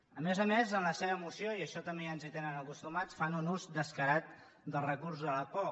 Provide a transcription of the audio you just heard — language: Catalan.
a més a més en la seva moció i a això també ja ens hi tenen acostumats fan un ús descarat del recurs de la por